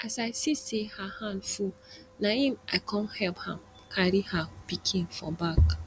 as i see say her hand full na im i come help am carry her pikin for back